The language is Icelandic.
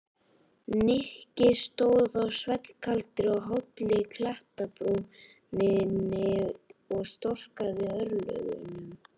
Nikki stóð á svellkaldri og hálli klettabrúninni og storkaði örlögunum.